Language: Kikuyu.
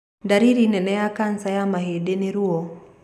Ndariri nene ya kanca ya mahĩndĩ nĩ ruo.